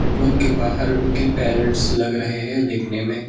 Pool के बाहर उनके पेरेंट्स लग रहे हैं देखने में।